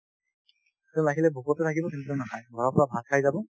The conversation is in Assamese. তেওঁ লাগিলে ভোকতে থাকিব কিন্তু নাখাই ঘৰৰ পৰা ভাত খাই যাব